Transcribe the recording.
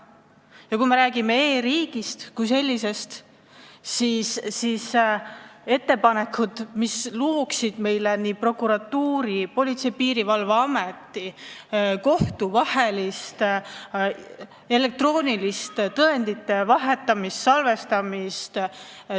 Ja kui me räägime e-riigist kui sellisest, siis võiks arvestada ettepanekuid, mis võimaldaksid prokuratuuril, Politsei- ja Piirivalveametil ja kohtutel elektrooniliselt tõendeid salvestada ja vahetada.